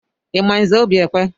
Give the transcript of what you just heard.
Ị ma Nze Obiekwe?